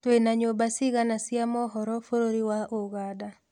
Twĩna nyũmba cigana cia mohoro Bũrũri wa Ũganda